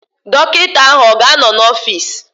Dọkịta ahụ ọ ga-anọ n'ọfịs?